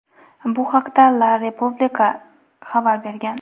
Bu haqda "la Repubblica" xabar bergan.